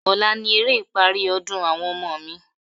Ọ̀la ni eré ìparí ọdún àwọn ọmọ mi.